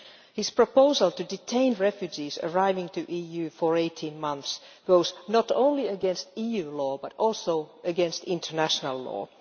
His proposal to detain refugees arriving in the EU for 18 months goes not only against EU law, but also against international law.